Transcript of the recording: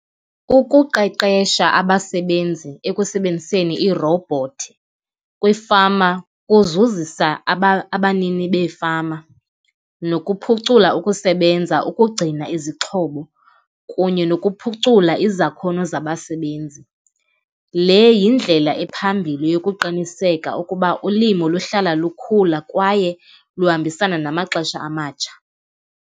Ukuqeqesha abasebenzi ekusebenziseni iirowubhothi kwiifama kuzuzisa abanini beefama nokuphucula ukusebenza ukugcina izixhobo kunye nokuphucula izakhono zabasebenzi. Le yindlela ephambili yokuqiniseka ukuba ulimo luhlala lukhula kwaye luhambisana namaxesha amatsha.